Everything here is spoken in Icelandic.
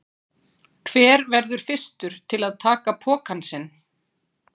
Hver verður fyrstur til að taka pokann sinn?